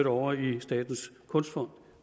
over i statens kunstfond